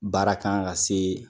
Baara kan ka se